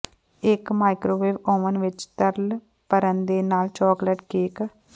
ਇੱਕ microwave oven ਵਿੱਚ ਤਰਲ ਭਰਨ ਦੇ ਨਾਲ ਚਾਕਲੇਟ ਕੇਕ